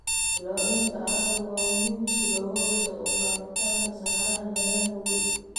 Ilaalinta carrada waa muhiim si looga hortago faafitaanka saxaraha meelaha nugul.